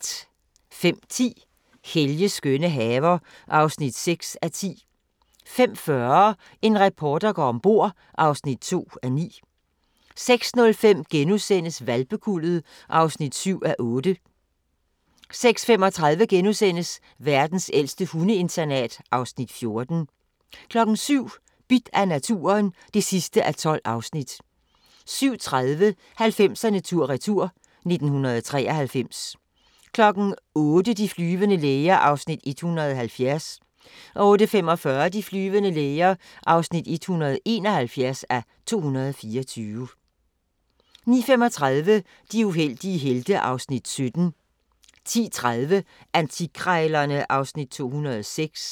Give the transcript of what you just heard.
05:10: Helges skønne haver (6:10) 05:40: En reporter går ombord (2:9) 06:05: Hvalpekuldet (7:8)* 06:35: Verdens ældste hundeinternat (Afs. 14)* 07:00: Bidt af naturen (12:12) 07:30: 90'erne tur-retur: 1993 08:00: De flyvende læger (170:224) 08:45: De flyvende læger (171:224) 09:35: De uheldige helte (Afs. 17) 10:30: Antikkrejlerne (Afs. 206)